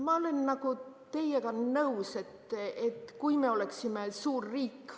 Ma olen teiega nõus, aga me peaksime siis olema suur riik.